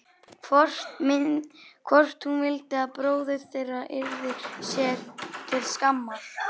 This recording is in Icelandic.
Hvort hún vildi að bróðir þeirra yrði sér til skammar?